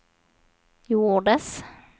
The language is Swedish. gjordes